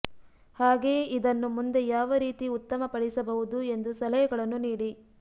ಹಾಗೆಯೆ ಇದನ್ನು ಮುಂದೆ ಯಾವ ರೀತಿ ಉತ್ತಮ ಪಡಿಸಬಹುದು ಎಂದು ಸಲಹೆಗಳನ್ನು ನೀಡಿ